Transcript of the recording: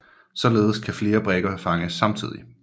Således kan flere brikker fanges samtidig